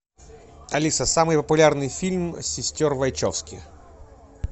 алиса самый популярный фильм сестер вачовски